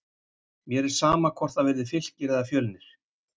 Mér er sama hvort það verði Fylkir eða Fjölnir.